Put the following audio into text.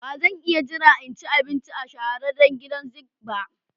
Ba zan iya jira in ci abinci a shahararren gidan zink ba.